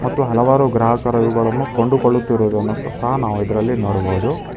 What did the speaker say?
ಮತ್ತು ಹಲವಾರು ಗ್ರಾಹಕರ ಇವುಗಳನ್ನು ಕೊಂಡುಕೊಳ್ಳುತ್ತಿರುವುದನ್ನು ಸಹ ನಾವು ಇದರಲ್ಲಿ ನೋಡಬಹುದು.